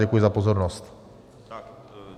Děkuji za pozornost.